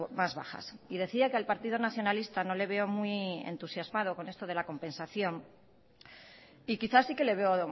más bajas y decía que al partido nacionalista no le veo muy entusiasmado con esto de la compensación y quizás sí que le veo